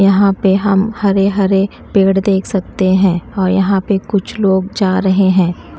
यहां पे हम हरे हरे पेड़ देख सकते हैं और यहां पे कुछ लोग जा रहे हैं।